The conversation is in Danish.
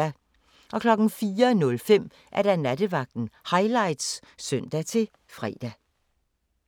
04:05: Nattevagten Highlights (søn-fre)